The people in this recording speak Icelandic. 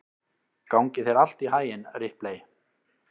Gangi þér allt í haginn, Ripley.